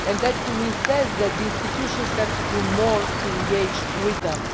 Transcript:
That tells me that the institutions have to do more to engage with them.